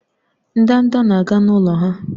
Ndanda na-aga n'ụlọ ha